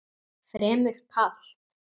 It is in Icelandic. Fremur kalt.